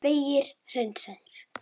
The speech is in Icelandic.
Vegir hreinsaðir